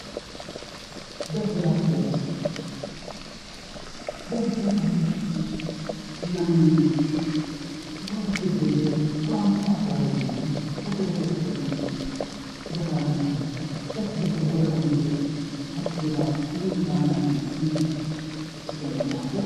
Daldalaa fi gabaa Daldala kana keessatti namni waan hojjetee bu'aa gaarii hin argannetti dogoogora . Bakki dogoogora illee namoonni baayyinaan itti hirmaatanidha.